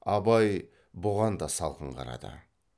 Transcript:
абай бұған да салқын қарады